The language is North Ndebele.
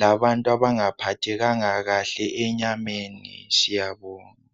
labantu abangaphathekanga kahle enyameni siyabonga.